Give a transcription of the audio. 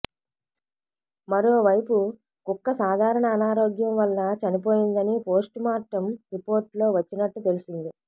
మరోవైపు కుక్క సాధారణ అనారోగ్యం వల్ల చనిపోయిందని పోస్టుమార్టం రిపోర్టులో వచ్చినట్టు తెలిసింది